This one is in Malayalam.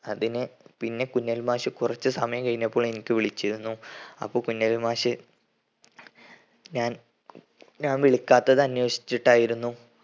അതിന് പിന്നെ കുഞ്ഞലവി മാഷ് കുറച്ചു സമയം കഴിഞ്ഞപ്പോൾ എനിക്ക് വിളിച്ചിരുന്നു. അപ്പൊ കുഞ്ഞലവി മാഷ് ഞാൻ ഞാൻ വിളിക്കാത്തത് അന്വേഷിച്ചിട്ടായിരുന്നു.